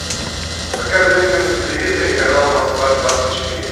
покажи мне на телевизоре канал москва двадцать четыре